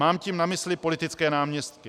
Mám tím na mysli politické náměstky.